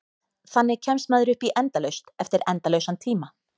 Þannig kemst maður upp í endalaust eftir endalausan tíma.